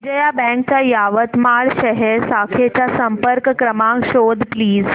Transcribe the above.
Vijaya Bank च्या यवतमाळ शहर शाखेचा संपर्क क्रमांक शोध प्लीज